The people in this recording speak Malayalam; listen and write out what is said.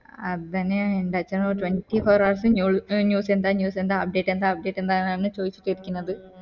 അതെന്നെയാണ് എൻ്റെ അച്ഛനും twenty four hours new news എന്താ news എന്താ object എന്താ object എന്താന്ന് ചോദിച്ചിട്ട് ഇരിക്കുന്നത്